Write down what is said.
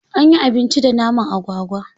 Anyi abinci da naman agwagwa.